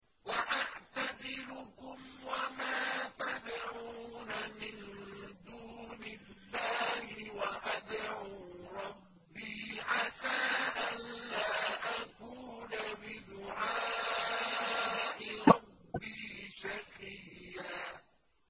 وَأَعْتَزِلُكُمْ وَمَا تَدْعُونَ مِن دُونِ اللَّهِ وَأَدْعُو رَبِّي عَسَىٰ أَلَّا أَكُونَ بِدُعَاءِ رَبِّي شَقِيًّا